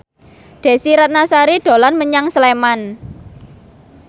Desy Ratnasari dolan menyang Sleman